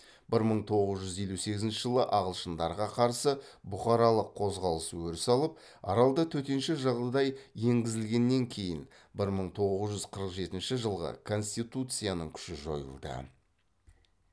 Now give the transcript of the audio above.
бір мың тоғыз жүз елу сегізінші жылы ағылшындарға қарсы бұқаралық қозғалыс өріс алып аралда төтенше жағдай енгізілгеннен кейін бір мың тоғыз жүз қырық жетінші жылғы конституцияның күші жойылды